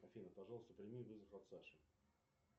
афина пожалуйста прими вызов от саши